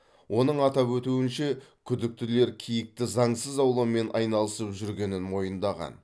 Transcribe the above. оның атап өтуінше күдіктілер киікті заңсыз аулаумен айналысып жүргенін мойындаған